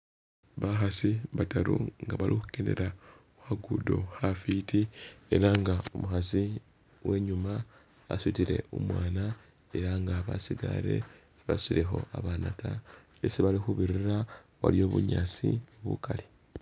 Bakhasi bataru nga bali khukendela khukhagudo khafiti era nga umukhasi uwenyuma asutile umwana era nga basigale basutilekho abana ta esi balikhubirira waliyo bunyaasi bukali